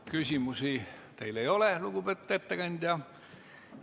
Küsimusi teile ei ole, lugupeetud ettekandja.